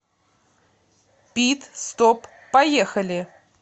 пит стоп поехали